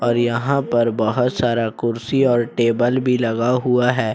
और यहां पर बहोत सारा कुर्सी और टेबल भी लगा हुआ है।